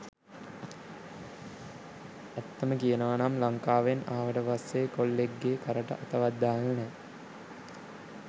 ඇත්තම කියනවනම් ලංකාවෙන් අවට පස්සේ කොල්ලෙක් ගේ කරට අතවත් දාල නෑ